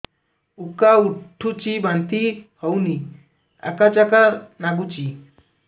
ଉକା ଉଠୁଚି ବାନ୍ତି ହଉନି ଆକାଚାକା ନାଗୁଚି